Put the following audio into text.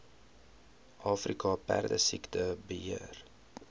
afrika perdesiekte beheer